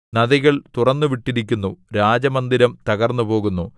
നദികൾ തുറന്നുവിട്ടിരിക്കുന്നു രാജമന്ദിരം തകർന്നുപോകുന്നു